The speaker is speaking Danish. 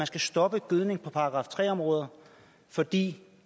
skal stoppe gødning på § tre områder fordi